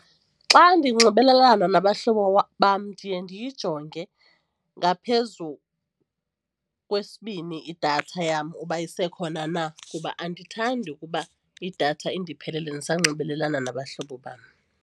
Xa ndinxibelelana nabahlobo bam ndiye ndiyijonge ngaphezu kwesibini idatha yam uba isekhona na kuba andithandi ukuba idatha indiphelele ndisanxibelelana nabahlobo bam.